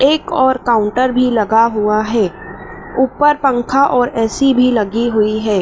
एक और काउंटर भी लगा हुआ है ऊपर पंखा और ए_सी भी लगी हुई है।